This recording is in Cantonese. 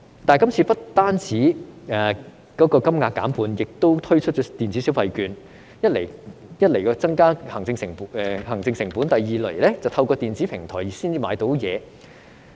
但是，這次金額不但減半，亦改以電子消費券的形式發放，一來會增加行政成本，二來要透過電子平台才能購買東西。